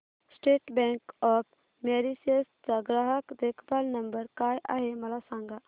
state Bank of Mauritius चा ग्राहक देखभाल नंबर काय आहे मला सांगा